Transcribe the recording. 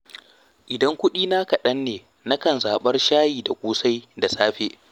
Idan kuɗina kaɗan ne na kan zaɓar shayi da ƙosai da safe.